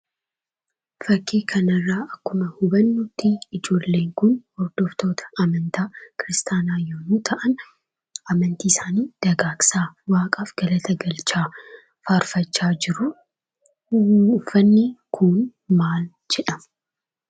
Fakkii kana irraa akkuma hubannutti, ijoolleen kun hordoftoota amantaa Kiristaanaa yemmuu ta'an, amantii isaanii dagaagsaa, Waaqaaf galata galchaa, faarfachaa jiru. Uffanni kun maal jedhama?